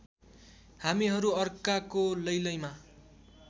हामीहरू अर्काको लैलैमा